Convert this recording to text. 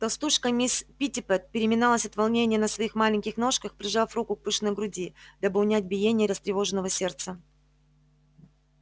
толстушка мисс питтипэт переминалась от волнения на своих маленьких ножках прижав руку к пышной груди дабы унять биение растревоженного сердца